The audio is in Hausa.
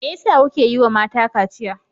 Me yasa kuka ƴiwa mata kaciya?